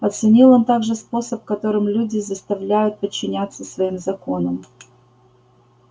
оценил он также способ которым люди заставляю подчиняться своим законам